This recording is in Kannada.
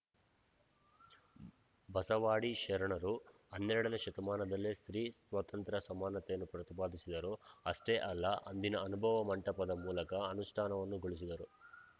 ಬಸವಾದಿ ಶರಣರು ಹನ್ನೆರಡನೇ ಶತಮಾನದಲ್ಲೇ ಸ್ತ್ರೀ ಸ್ವಾತಂತ್ರ್ಯ ಸಮಾನತೆಯನ್ನು ಪ್ರತಿಪಾದಿಸಿದರು ಅಷ್ಟೇ ಅಲ್ಲ ಅಂದಿನ ಅನುಭವ ಮಂಟಪದ ಮೂಲಕ ಅನುಷ್ಟಾನವನ್ನೂ ಗೊಳಿಸಿದರು